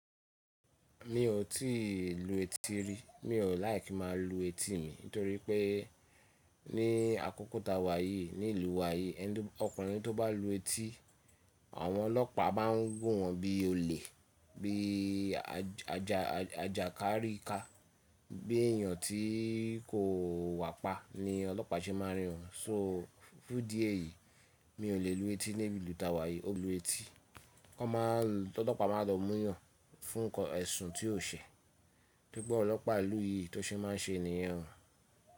Mi ò tíì lu etí rí, mi ò like kimá a lu etí mi nítorí pé ní àkókò tá wa yìí, nílùú wa yìí, ọkùnrin tó bá lu etí, àwọn ọlọ́pàá bá ń wo wọ́n bí ole, bí ajàkárí ká, bí èèyàn tí kò wà pa ni ọlọ́pàá ṣe máa rí won. So fún idi eyìí mi ò lè lu etí ní ìlú tá wa yìí. O lu etí, ọlọ́pàá má lọ mú yàn fún ẹ̀sùn tí o ṣẹ̀. To ri pe awon ọlọ́pàá ilù ìyí tó ṣe máa ń ṣe niyen o.